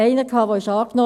Einer wurde angenommen.